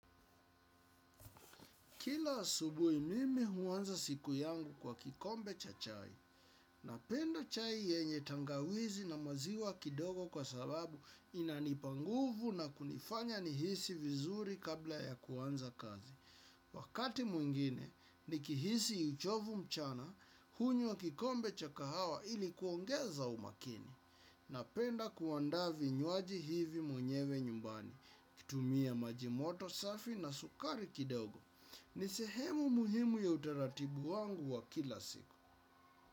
Kila asubui mimi huanza siku yangu kwa kikombe cha chai. Napenda chai yenye tangawizi na maziwa kidogo kwa sababu inanipa nguvu na kunifanya nihisi vizuri kabla ya kuanza kazi. Wakati mwingine, nikihisi uchovu mchana, hunywa kikombe cha kahawa ilikuongeza umakini. Napenda kuanda vinywaji hivi mwenyewe nyumbani, kutumia majimoto safi na sukari kidogo. Ni sehemu muhimu ya utaratibu wangu wa kila siku.